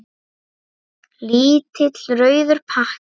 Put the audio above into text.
Lítill rauður pakki.